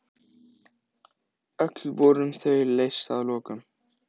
Öll voru þau leyst að lokum.